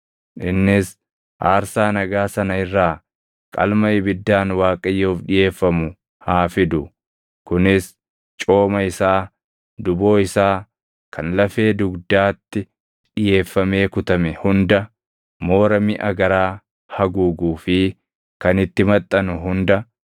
Innis aarsaa nagaa sana irraa qalma ibiddaan Waaqayyoof dhiʼeeffamu haa fidu; kunis cooma isaa, duboo isaa kan lafee dugdaatti dhiʼeeffamee kutame hunda, moora miʼa garaa haguuguu fi kan itti maxxanu hunda,